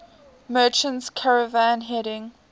merchant caravan heading